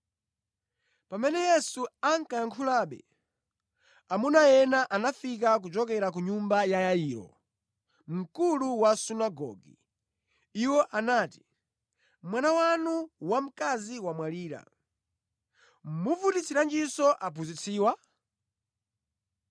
Pamene Yesu ankayankhulabe, amuna ena anafika kuchokera ku nyumba ya Yairo, mkulu wa sunagoge. Iwo anati, “Mwana wanu wamkazi wamwalira, muvutitsiranjinso aphunzitsiwa?”